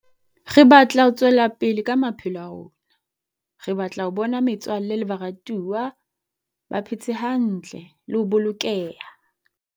Re batla ho tswela pele ka maphelo a rona. Re batla ho bona metswalle le baratuwa ba phetse hantle le ho bolokeha.